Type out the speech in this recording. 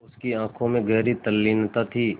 उसकी आँखों में गहरी तल्लीनता थी